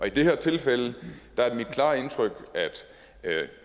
i det her tilfælde er det mit klare indtryk at